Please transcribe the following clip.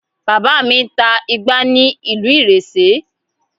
Bàbá mi ń ta igbá ní ìlú ìrésé